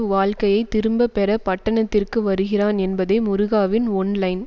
வாழ்க்கையை திரும்ப பெற பட்டணத்திற்கு வருகிறான் என்பதே முருகாவின் ஒன் லைன்